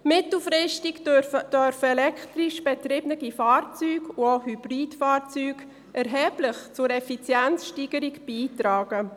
Mittelfristig dürften elektrisch betriebene Fahrzeuge und auch Hybridfahrzeuge erheblich zur Effizienzsteigerung beitragen.